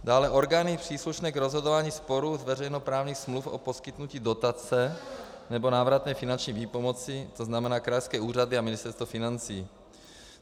Dále orgány příslušné k rozhodování sporů z veřejnoprávních smluv o poskytnutí dotace nebo návratné finanční výpomocí, to znamená krajské úřady a Ministerstvo financí.